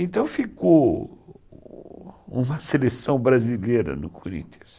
Então ficou uma seleção brasileira no Corinthians.